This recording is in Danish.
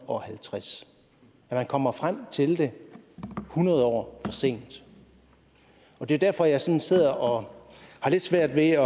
og halvtreds man kommer frem til det hundrede år for sent det er derfor jeg sådan sidder og har lidt svært ved at